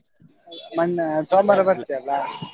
ಮನ್~ ಸೋಮವಾರ ಬರ್ತಿಯಲ್ಲ.